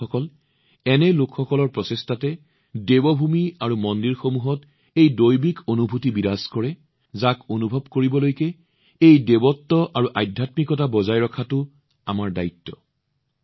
বন্ধুসকল এনে লোকসকলৰ প্ৰচেষ্টাত ঈশ্বৰৰ ভূমি আৰু মন্দিৰসমূহৰ এক ঐশ্বৰিক অনুভূতি বৰ্তি আছে যিটো আমি তালৈ অনুভৱ কৰিবলৈ যাওঁ এই দৈৱত্ব আৰু আধ্যাত্মিকতা বজাই ৰখাটো আমাৰ দায়িত্ব